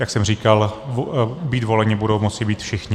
Jak jsem říkal, být voleni budou moci být všichni.